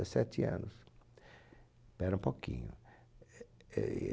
anos, pera um pouquinho eh